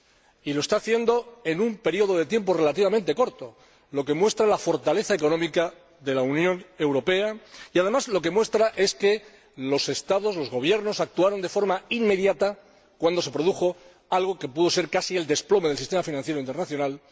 Y lo está haciendo en un período de tiempo relativamente corto, lo que muestra la fortaleza económica de la Unión Europea y, además, que los gobiernos actuaron de forma inmediata cuando se produjo algo que pudo acarrear el desplome del sistema financiero internacional.